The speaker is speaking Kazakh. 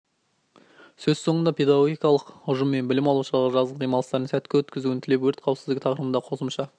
сөз соңында педагогикалық ұжым мен білім алушыларға жазғы демалыстарын сәтті өткізуін тілеп өрт қауіпсіздігі тақырыбында қосымша